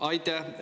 Aitäh!